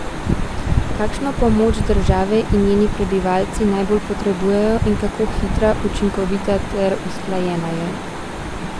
Kakšno pomoč države in njeni prebivalci najbolj potrebujejo in kako hitra, učinkovita ter usklajena je?